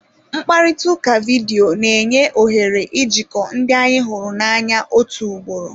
Mkparịta ụka vidiyo na-enye ohere ijikọ ndị anyị hụrụ n'anya otu ugboro.